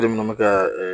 minnu bɛ kɛ